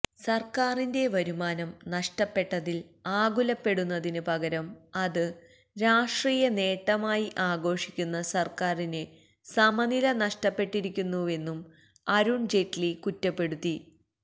സര്ക്കാരിന്റെ വരുമാനം നഷ്ടപ്പെട്ടതില് ആകുലപ്പെടുന്നതിന് പകരം അത് രാഷ്ട്രീയ നേട്ടമായി ആഘോഷിക്കുന്ന സര്ക്കാരിന് സമനില നഷ്ടപ്പെട്ടിരിക്കുന്നുവെന്നും അരുണ് ജെയ്റ്റ്ലി കുറ്റപ്പെടുത്തി